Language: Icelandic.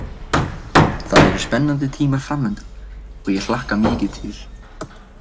Það eru spennandi tímar framundan og ég hlakka mikið til.